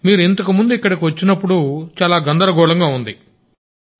మీరు ఇంతకుముందు ఇక్కడికి వచ్చినప్పుడు చాలా గందరగోళంగా ఉంది సార్